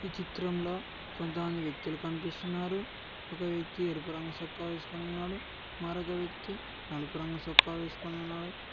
ఈ చిత్రంలో కొంతమంది వ్యక్తులు కనిపిస్తున్నారు ఒక వ్యక్తి ఎరుపు రంగు సొక్కా వేసుకొని ఉన్నాడు మరొక వ్యక్తి నలుపు రంగు సొక్కా వేసుకొని ఉన్నాడు.